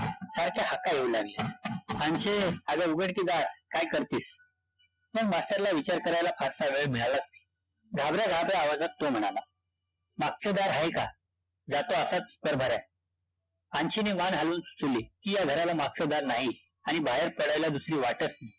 मग मास्तरला विचार करायला फारसा वेळ मिळालाच नाही, घाबऱ्या घाबऱ्या आवाजात तो म्हणाला, मागचं दार आहे का? जातो आताच, तर बरयं, अन्शीने मान हलवून की या घराला मागचं दार नाही आणि बाहेर पडायला दुसरी वाटच नाही